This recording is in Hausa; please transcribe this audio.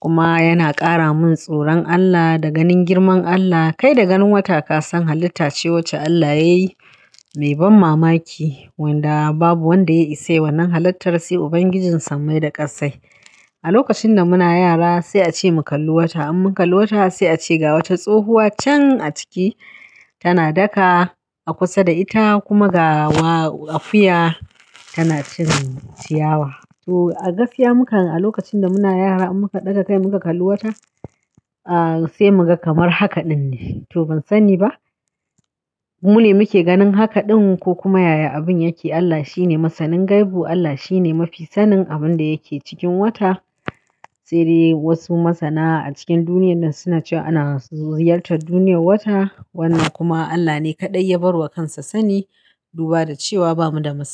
kuma yana ƙara min tsoron Allah da ganin girman Allah. Kai da ganin wata ka san halitta ce wacce Allah ya yi, mai ban mamaki wanda babu wanda ya isa yayi wannan halittar sai Ubangijin sammai da ƙassai. A lokacin da muna yara sai a ce mu kalli wata, in mun kalli wata sai a ce ga wata tsohuwa can a ciki tana daka a kusa da ita kuma ga wa akuya tana cire ciyawa. To a gaskiya mukan, a lokacin da muna yara in muka ɗaga kai muka kalli wata, a sai mu ga kamar haka ɗin ne. To ban sani ba, mune muke ganin haka ɗin ko kuma yaya abin yake Allah shine masanin gaibu, Allah shine mafi sanin abin da yake cikin wata. Sai dai wasu masana a cikin duniyar nan suna cewa ana ziyartar duniyar wata wannan kuma Allah ne kaɗai ya bar wa kansa sani duba da cewa bamu da masani.